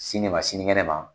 Sini ma sini ŋɛnɛ ma